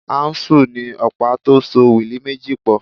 Áúnsùl ni ọ̀pá tó so wíìlì méjì pọ̀